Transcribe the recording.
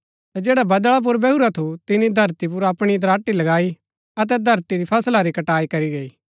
ता जैडा बदळा पुर बैहुरा थू तिनी धरती पुर अपणा दराटी लगाई अतै धरती री फसला री कटाई करी गई